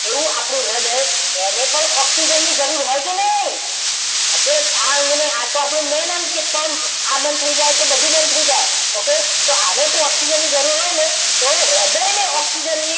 એવું આપણું હૃદય એને પણ ઓક્સિજનની જરૂર હોય કે નહીં okay આ અંગને આ તો આપણો main અંગ છે પંપ આ બંધ થઈ જાય તો બધું બંધ થઈ જાય okay તો આને પણ ઓક્સિજનની જરૂર હોય ને તો હૃદયને ઓક્સિજનની